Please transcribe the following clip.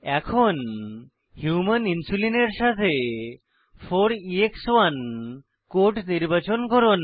এখন human insulin এর সাথে 4এক্স1 কোড নির্বাচন করুন